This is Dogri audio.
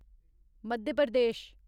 मध्य प्रदेश